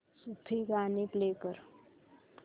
सूफी गाणी प्ले कर